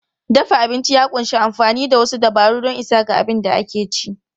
Dafa abinci ya ƙunshi amfani da wasu dabaru don isa ga abin da ake ci.